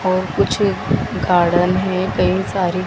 और कुछ गार्डन है कई सारी--